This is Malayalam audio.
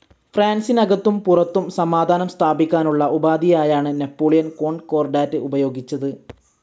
ഫ്രാൻസിനകത്തും പുറത്തും സമാധാനം സ്ഥാപിക്കാനായുള്ള ഉപാധിയായാണ് നാപ്പോളിയൻ കോൺകോർഡാറ്റ്‌ ഉപയോഗിച്ചത്.